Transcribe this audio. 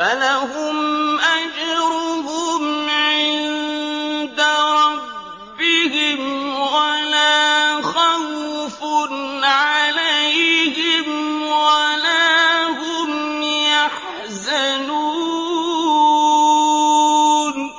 فَلَهُمْ أَجْرُهُمْ عِندَ رَبِّهِمْ وَلَا خَوْفٌ عَلَيْهِمْ وَلَا هُمْ يَحْزَنُونَ